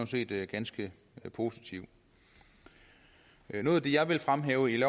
set ganske positivt noget af det jeg vil fremhæve i